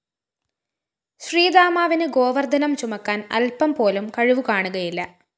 ശ്രീദാമാവിന് ഗോവര്‍ദ്ധനം ചുമക്കാന്‍ അല്പംപോലും കഴിവുകാണുകയില്ല